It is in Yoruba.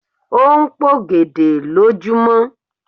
O ń p'ògèdè lojumọ